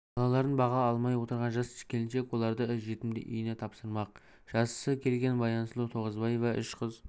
балаларын баға алмай отырған жас келіншек оларды жетімдер үйіне тапсырмақ жасы келген баянсұлу тоғызбаева үш қыз